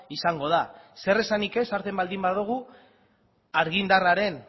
izango da zer esanik ez hartzen baldin badugu argindarraren